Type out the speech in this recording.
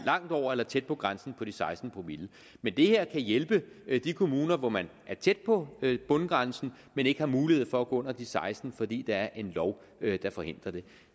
langt over eller tæt på grænsen på de seksten promille men det her kan hjælpe de kommuner hvor man er tæt på bundgrænsen men ikke har mulighed for at gå under de seksten promille fordi der er en lov der forhindrer det